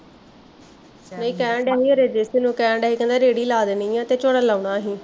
ਏਹ ਕਹਿਣ ਡਏ ਸੀ ਨੂੰ ਕਹਿਣ ਡਏ ਸੀ ਕਹਿੰਦੇ ਰੇਹੜੀ ਲਾ ਦੇਣੀ ਆ ਤੇ ਝੋਨਾ ਲਾਉਣਾ ਅਸੀਂ